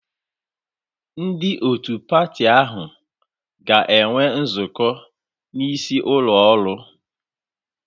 Ndị otu patị ahụ ga-enwe nzukọ n'isi ụlọ oru